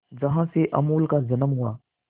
जहां से अमूल का जन्म हुआ